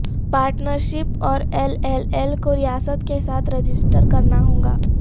partnership اور L L L کو ریاست کے ساتھ رجسٹر کرنا ہوگا